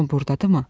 Hamı burdadımı?